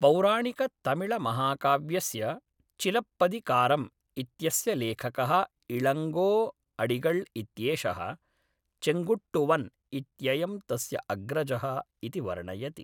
पौराणिकतमिळमहाकाव्यस्य चिलप्पदिकारम् इत्यस्य लेखकः इळङ्गो अडिगळ् इत्येषः, चेङ्गुट्टुवन् इत्ययं तस्य अग्रजः इति वर्णयति।